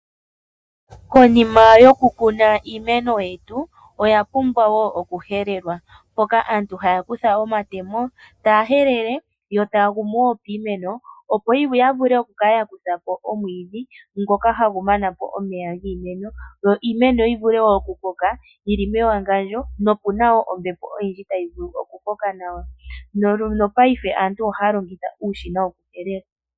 Konima yokukuna iimeno yetu, oya pumbwa wo okuhelewa, mpoka aantu haya kutha omatemo taya helele yo taya gumu wo piimeno, opo ya vule okukala ya kutha po omwiidhi ngoka hawu mana po omeya giimeno, yo iimeno yi vule wo okukoka yili mewangandjo noku na wo ombepo oyindji tayi vulu okukoka nawa, no paife aantu ohaya longitha uushina wokuhelela.